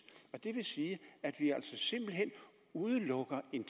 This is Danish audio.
det vil sige at vi altså simpelt hen udelukker en